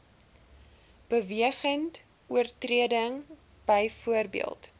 bewegende oortreding byvoorbeeld